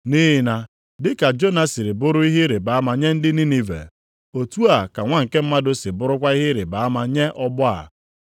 Nʼihi na dị ka Jona si bụrụ ihe ịrịbama nye ndị Ninive, otu a ka Nwa nke Mmadụ ga-esi bụrụkwa ihe ama nye ọgbọ a.